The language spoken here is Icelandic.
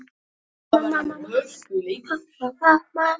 Í kjölfarið voru fundir bræðralagsins bannaðir.